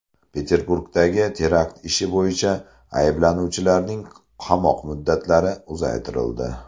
Peterburgdagi terakt ishi bo‘yicha ayblanuvchilarning qamoq muddatlari uzaytirildi.